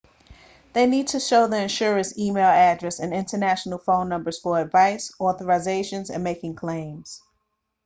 they need to show the insurer's e-mail address and international phone numbers for advice/authorizations and making claims